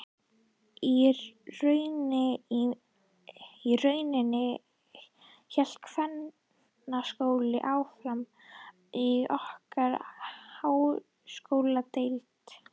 Í rauninni hélt kvennaskólinn áfram í okkar háskóladeild.